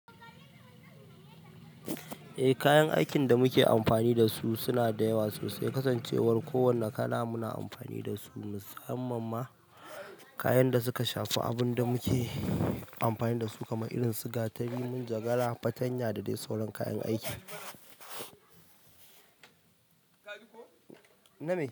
Eh kayan aikin da muke amfani da su suna da yawa sosai kasan cewar kowani kala muna amfani da su musamman ma kayan da suka shafi abin da muke amfani da su kamar irin su gatari, munjagara, fartanya da dai sauran kayan aiki.